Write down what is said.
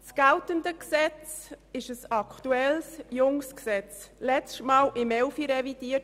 Das geltende Gesetz ist aktuell und jung, es wurde letztmals im Jahr 2011 revidiert.